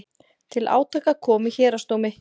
Til átaka kom í héraðsdómi